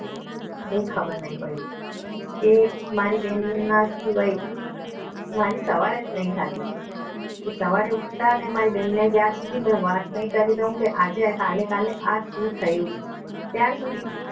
હું ખબર નહિ પડી કે મારી બેનના સિવાય મારી સવાર જ નહીં થતી સવારે ઉઠતા અને મારી બહેનને જ્યાં સુધી કરી દીધા આજે કાલે કાલે આ શું થયું અત્યાર સુધી